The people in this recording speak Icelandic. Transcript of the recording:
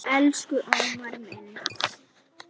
Elsku Ómar minn.